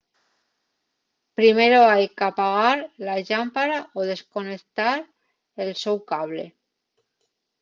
primero hai qu'apagar la llámpara o desconeutar el so cable